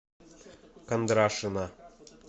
кондрашина